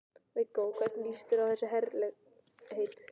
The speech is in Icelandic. Viggó: Og hvernig líst þér á þessi herlegheit?